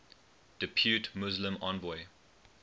depute muslim envoy